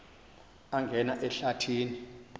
angena ehlathi ni